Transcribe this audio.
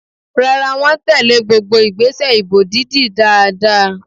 Rárá, wọ́n tèlé gbogbo ìgbésẹ̀ ìbò dídì dáadáa.